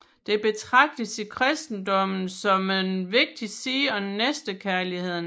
Det betragtes i kristendommen som en vigtig side af næstekærligheden